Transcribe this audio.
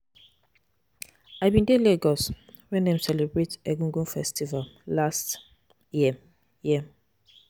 I bin dey Lagos wen dem celebrate Egungun festival last year. year.